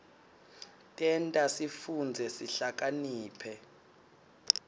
tenta sifundze sihlakaniphe